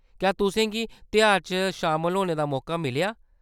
क्या तुसें गी तेहार च शामल होने दा मौका मिलेआ ?